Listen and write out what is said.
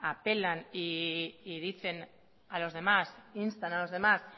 instan a los demás